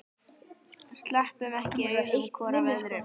Sleppum ekki augum hvor af öðrum.